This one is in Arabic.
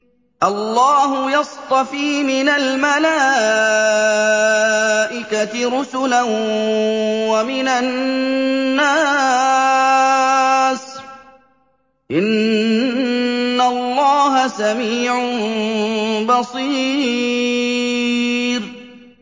اللَّهُ يَصْطَفِي مِنَ الْمَلَائِكَةِ رُسُلًا وَمِنَ النَّاسِ ۚ إِنَّ اللَّهَ سَمِيعٌ بَصِيرٌ